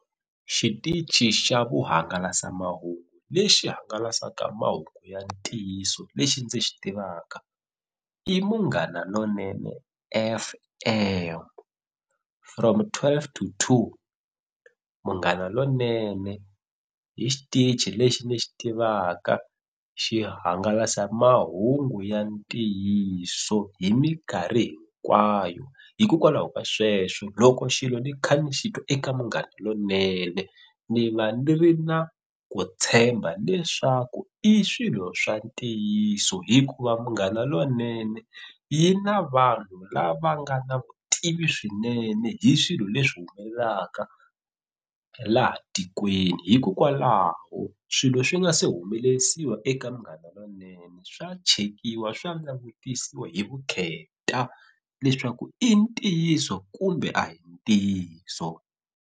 Xitichi xa vuhangalasamahungu lexi hangalasaka mahungu ya ntiyiso lexi ndzi xi tivaka i Munghana Lonene F_M from twelve to two Munghana Lonene hi xitichi lexi ni xi tivaka xi hangalasa mahungu ya ntiyiso hi minkarhi hinkwayo hikokwalaho ka sweswo loko xilo ni kha ni xi twa eka Munghana Lonene ni va ni ri na ku tshemba leswaku i swilo swa ntiyiso hikuva munghana lonene yi na vanhu lava nga na vutivi swinene hi swilo leswi humelelaka laha tikweni hikokwalaho swilo swi nga se humelelisiwa eka Munghana Lonene swa chekiwa swa langutisiwa hi vukheta leswaku i ntiyiso kumbe a hi ntiyiso.